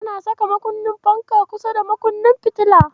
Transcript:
Ana saka makunnin fanka kusa da makunnin fitila.